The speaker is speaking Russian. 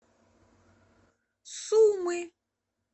сумы